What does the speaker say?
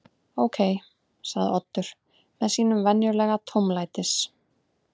Ókei- sagði Oddur með sínum venjulega tómlætis